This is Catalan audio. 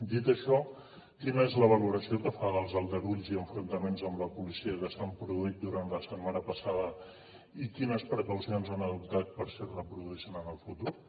dit això quina és la valoració que fa dels aldarulls i enfrontaments amb la policia que s’han produït durant la setmana passada i quines precaucions han adoptat per si es reproduïssin en el futur